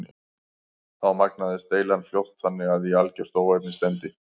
Þá magnaðist deilan fljótt þannig að í algert óefni stefndi.